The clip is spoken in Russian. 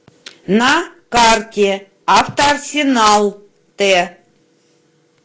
на карте автоарсенал т